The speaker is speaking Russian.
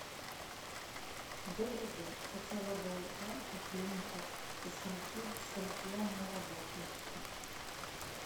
добрый день хотела бы узнать про клинику со скольки до скольки она работает